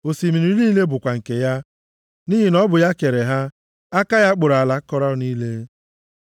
Osimiri niile bụ nke ya, nʼihi na ọ bụ ya kere ha, aka ya kpụrụ ala akọrọ niile.